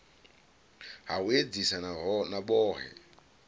ha u edzisa na vhohe